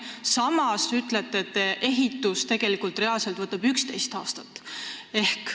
Samas ütlete, et reaalselt võtab ehitus aega 11 aastat.